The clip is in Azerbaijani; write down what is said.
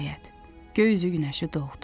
Nəhayət, göy üzü günəşi doğdu.